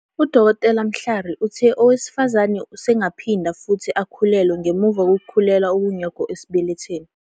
UDkt. Mhlari uthe owesifazane usengaphinda futhi akhulelwe ngemva kokukhulelwa okungekho esibelethweni.